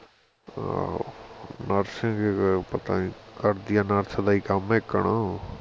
ਆਹੋ nurse ਸੀ ਗੀ ਪਤਾ ਨਹੀ ਕਰਦੀ ਹੈ nurse ਦਾ ਹੀ ਕੰਮ ਏਕਣ